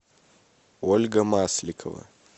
ольга масликова